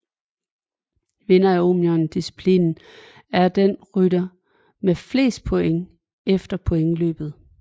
Vinder af Omnium disciplinen er den rytter med flest points efter pointløbet